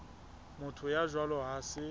motho ya jwalo ha se